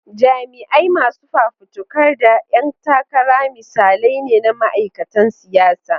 Jami'ai, masu fafutuka, da 'yan takara misalai ne na ma'aikatan siyasa.